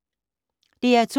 DR2